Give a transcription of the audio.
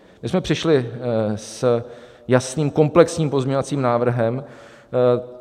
My jsme přišli s jasným komplexním pozměňovacím návrhem.